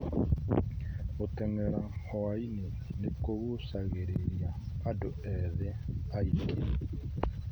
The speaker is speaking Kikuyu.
Gũteng'era hwainĩ nĩ kũguucagĩrĩria andũ ethĩ aingĩ.